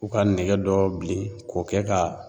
U ka nɛgɛ dɔ bilen k'o kɛ ka